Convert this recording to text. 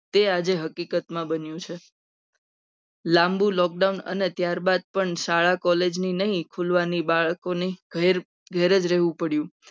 તે આજે હકીકતમાં બની છે. લાંબુ lockdown અને ત્યારબાદ પણ શાળા college ની નહીં. પૂજવાની બાળકોની ગેર ગેરેજ રહેવું પડ્યું.